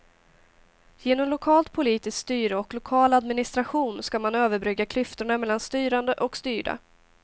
Genom lokalt politiskt styre och lokal administration ska man överbrygga klyftorna mellan styrande och styrda.